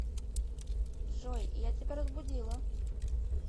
джой я тебя разбудила